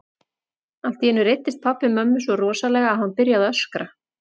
Allt í einu reiddist pabbi mömmu svo rosalega að hann byrjaði að öskra.